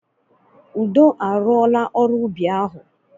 Udo a rụọla ọrụ ubi ahụ.